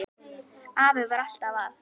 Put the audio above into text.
Afi var alltaf að.